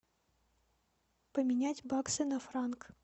поменять баксы на франк